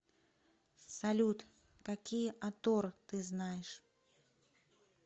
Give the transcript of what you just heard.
салют какие атор ты знаешь